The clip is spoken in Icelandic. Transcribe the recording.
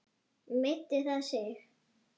Meiddi það sig?